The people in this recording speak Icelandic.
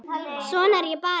Svona er ég bara.